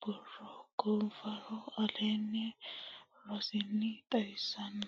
borro gu fara aleenni rossini xawissanno.